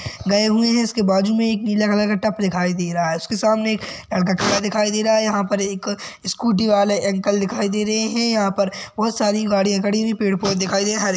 गए हुए है और इसके बाजुमे एक नीला कलर का टप दिखाई दे रहा है उसके सामने दिखाई दे रहा है यहा पर एक स्कूटी वाले अंकल दिखाई दे रहे है यहा पर बहोत सारी गाड़िया खड़ी हुई पेड़ पौधे दिखाई दे रही है हरे--